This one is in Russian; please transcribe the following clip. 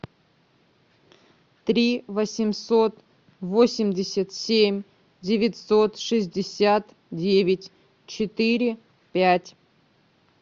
три восемьсот восемьдесят семь девятьсот шестьдесят девять четыре пять